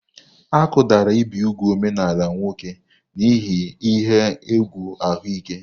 Akụdara ibi úgwù omenaala nwoke n'ihi ihe egwu ahụike.